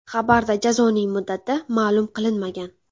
Xabarda jazoning muddati ma’lum qilinmagan.